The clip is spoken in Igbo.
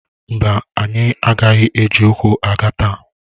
Mba, anyị agaghị eji ụkwụ aga taa.